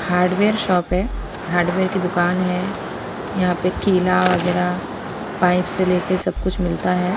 Hardware shop है hardware की दुकान है यहां पे कीला वगैरह पाइप से लेकर सब कुछ मिलता है.